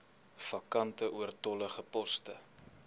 vakante oortollige poste